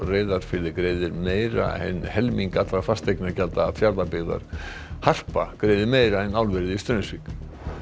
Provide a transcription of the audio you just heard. Reyðarfirði greiðir meira en helming allra fasteignagjalda Fjarðabyggðar harpa greiðir meira en álverið í Straumsvík